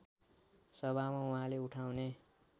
सभामा उहाँले उठाउने